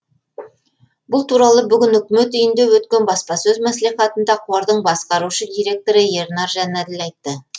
бұл туралы бүгін үкімет үйінде өткен баспасөз мәслихатында қордың басқарушы директоры ернар жанәділ айтты